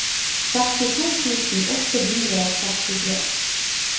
sekstito tusen åtte hundre og sekstitre